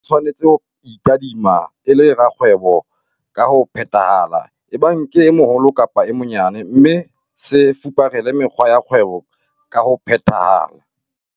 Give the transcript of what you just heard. SEHWAI SE TSHWANETSE HO ITADIMA E LE RAKGWEBO KA HO PHETHAHALA, EBANG KE E MOHOLO KAPA E MONYANE - MME SE FUPARELE MEKGWA YA KGWEBO KA HO PHETHAHALA.